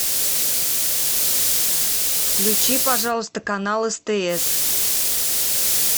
включи пожалуйста канал стс